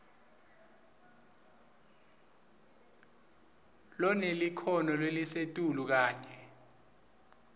lonelikhono lelisetulu kanye